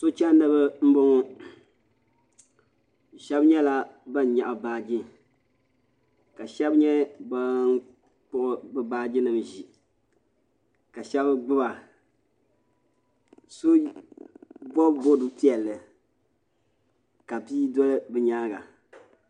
Sochɛndi ba n bɔŋɔ shɛba nyɛla bani yɛɣi baaji ka shɛba nyɛ bani kpuɣi bi baaji nima n zi ka shɛba gbiba so bɔbi bɔbi piɛlli ka bia doli bi yɛanga.